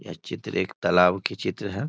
यह चित्र एक तालाब की चित्र है।